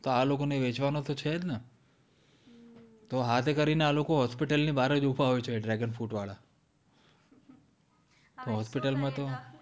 તો આ લોકો ને વેચવાનું તો છે જ ને તો હાથે કરીને આ લોકો hospital ની બહાર જ ઉભા હોય છે dragon fruit વાળા